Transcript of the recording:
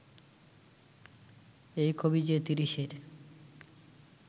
এই কবি যে তিরিশের